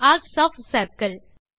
RCS of circle